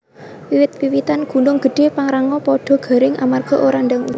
Wit witan ing Gunung Gedhe Pangrango podo garing amarga ora ndang udan